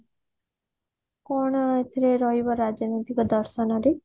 କଣ ଏଥିରେ ରହିବ ରାଜନୈତିକ ଦର୍ଶନରେ